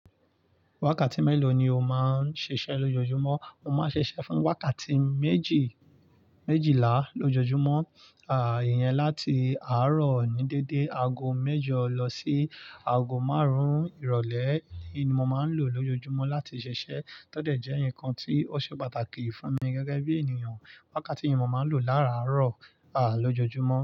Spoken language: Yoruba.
Wákàtí mélòó ni o máa ń ṣiṣẹ́ lójoojúmọ́? Mo máa ń ṣiṣẹ́ fún wákàtí méjì, méjìlá lójoojúmọ́, à yẹn láti àárọ̀ ní dédé aago mẹ́jọ lọ sí aago márùn-ún ìrọ̀lẹ́ ni mo máa ń lò lójoojúmọ́ láti ṣiṣẹ́. Tódẹ̀ jẹ́ nǹkan tí ó ṣe pàtàkì fún mi gẹ́gẹ́ bí ènìyàn. Wákàtí yìí mo máa ń lò láàárọ̀, à lójoojúmọ́.